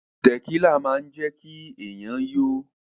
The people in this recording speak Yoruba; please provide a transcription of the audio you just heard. Tẹ̀kílà máa ń jẹ́kí èèyàn yó